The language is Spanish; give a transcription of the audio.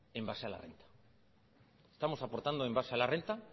en base a la renta estamos aportando en base a la renta